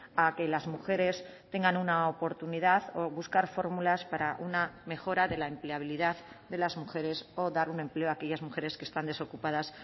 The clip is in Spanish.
a que las mujeres tengan una oportunidad o buscar fórmulas para una mejora de la empleabilidad de las mujeres o dar un empleo a aquellas mujeres que están desocupadas